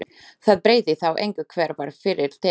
Það breytti þá engu hver var fyrri til.